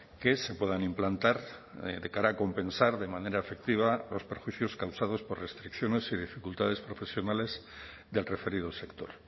que se puedan implantar de cara a compensar de manera efectiva los perjuicios causados por restricciones y dificultades profesionales del referido sector